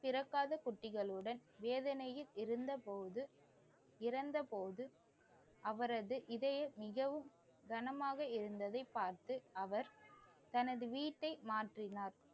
குட்டிகளுடன் வேதனையில் இருந்தபோது இறந்த போது அவரது இதயம் மிகவும் கனமாக இருந்ததைப் பார்த்து அவர் தனது வீட்டை மாற்றினார்.